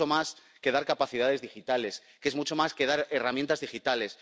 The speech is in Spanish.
Que es mucho más que dar capacidades digitales, que es mucho más que dar herramientas digitales.